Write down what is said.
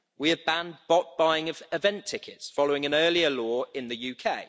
We have banned bulk buying of event tickets following an earlier law in the UK.